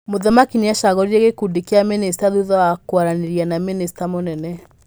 Mũthamaki nĩacagũrire gĩkundi kĩa mĩnĩcita thutha wa kwaranĩria na mĩnĩcita mũnene .